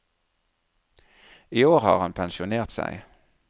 I år har han pensjonert seg.